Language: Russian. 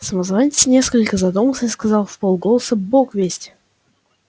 самозванец несколько задумался и сказал вполголоса бог весть